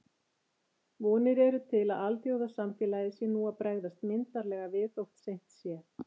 Vonir eru til að alþjóðasamfélagið sé nú að bregðast myndarlega við, þótt seint sé.